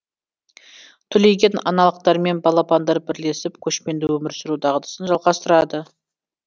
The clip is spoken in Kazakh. түлеген аналықтармен балапандар бірлесіп көшпенді өмір сүру дағдысын жалғастырады